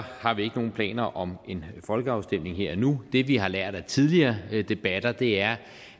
har vi ikke nogen planer om en folkeafstemning her og nu det vi har lært af tidligere debatter er